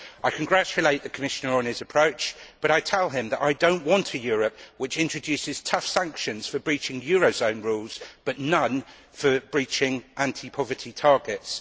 I congratulate the Commissioner on his approach, but I tell him that I do not want a Europe which introduces tough sanctions for breaching Eurozone rules but none for breaching anti poverty targets.